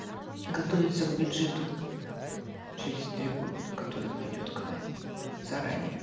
готовиться к бюджету через три года который придет к нам заранее